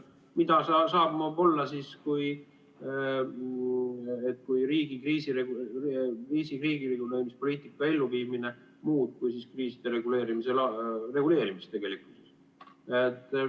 Mida muud saab see riigi kriisireguleerimispoliitika elluviimine tähendada kui kriiside reguleerimist.